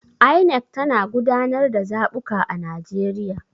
INEC tana gudanar da zabuka a Najeriya.